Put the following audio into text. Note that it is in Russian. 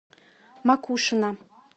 макушино